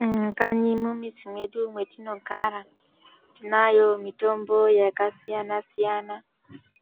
Mumakanyimwo mumizi mwedu mwetinogara tinayo mitombo yakasiyana siyana